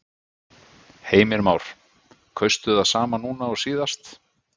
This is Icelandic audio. Heimir Már: Kaustu það sama núna og síðast?